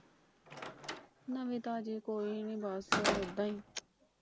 ਨਵੀ ਤਾਜ਼ੀ ਕੋਈ ਨਹੀਂ ਬਸ ਓਦਾਂ ਈ।